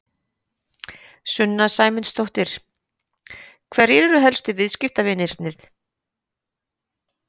Sunna Sæmundsdóttir: Hverjir eru helstu viðskiptavinirnir?